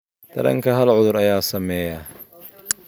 Taranka, hal cudur ayaa saameeya lo'da oo dhan.